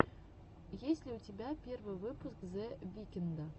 есть ли у тебя первый выпуск зе викнда